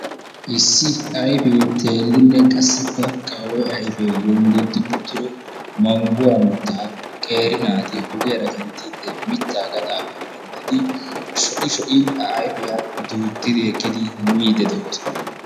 Issi ayfe teerin qassikka qawu''e ayfe yonddodi uttido mangguwaa mittaa qeeri naati ogiyara kanttide mitta gaxxappe ekkidi sho'i sho'i A ayfiyaa duuttidi ekkidi miide doosona.